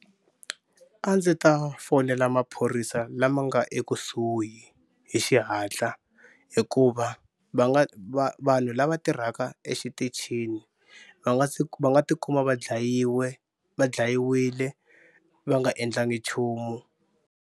A ndzi ta fonela maphorisa lama nga ekusuhi hi xihatla hikuva va nga va va vanhu lava tirhaka exitichini va nga va nga tikuma va dlayiwe va dlayiwile va nga endlangi nchumu.